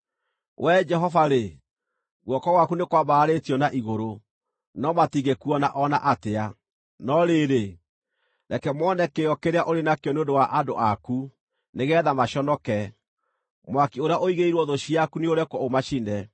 Wee Jehova-rĩ, guoko gwaku nĩ kwambararĩtio na igũrũ, no matingĩkuona o na atĩa. No rĩrĩ, reke mone kĩyo kĩrĩa ũrĩ nakĩo nĩ ũndũ wa andũ aku, nĩgeetha maconoke; mwaki ũrĩa ũigĩirwo thũ ciaku nĩũrekwo ũmacine.